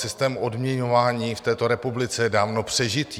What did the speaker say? Systém odměňování v této republice je dávno přežitý.